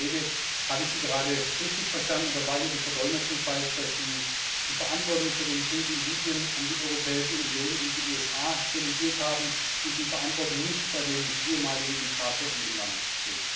Geschätzter Herr Kollege, habe ich Sie gerade richtig verstanden oder war hier die Verdolmetschung falsch, dass Sie die Verantwortung für den Krieg in Libyen an die Europäische Union und die USA delegiert haben und die Verantwortung nicht bei dem ehemaligen Diktator in dem Land sehen?